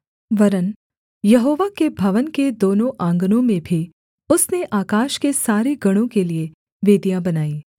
वरन् यहोवा के भवन के दोनों आँगनों में भी उसने आकाश के सारे गणों के लिये वेदियाँ बनाई